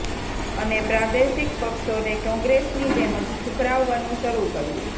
અને પ્રાદેશિક પક્ષોને કોંગ્રેસની જેમ જ ઠુકરાવવાનું શરૂ કર્યું